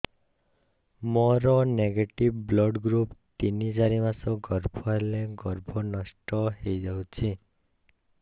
ମୋର negative blood group ତିନ ଚାରି ମାସ ଗର୍ଭ ହେଲେ ଗର୍ଭ ନଷ୍ଟ ହେଇଯାଉଛି